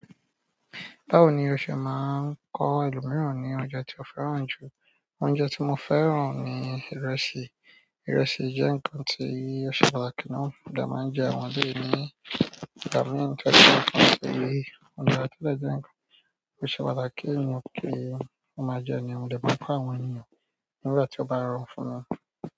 Báwo ni o ṣe máa ń kọ ẹlòmíràn ní oúnjẹ tí o fẹ́ràn jù? Oúnjẹ tí mo fẹ́ràn ni ìrẹsì. Ìrẹsì jẹ́ ǹkan tí ẹṣọ pàtàkì náà dá má ń jẹ àwọn ọdẹ nígbà mìíràn tẹ́lẹ̀ kí wọn sì rí ọdẹ rí tẹ́lẹ̀ jẹ ǹkan tí ẹṣọ pàtàkì ni òkè. Wọ́n máa jẹun ní ọdẹ papọ̀ àwọn ènìyàn nígbà tí ó bá rọ fún wọn.